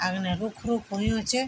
अगने रुखु रुखु होयुं च।